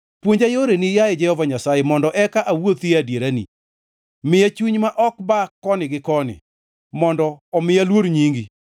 Puonja yoreni, yaye Jehova Nyasaye, mondo eka awuothi e adierani; miya chuny ma ok ba koni gi koni, mondo omi aluor nyingi.